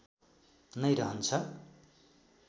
नै रहन्छ